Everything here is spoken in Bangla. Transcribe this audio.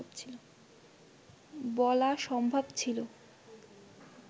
বলা সম্ভব ছিল